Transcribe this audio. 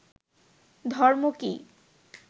ধর্ম কী